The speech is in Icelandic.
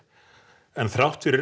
en þrátt fyrir